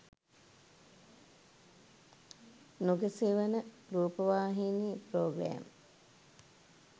nuga sewana rupawahini programe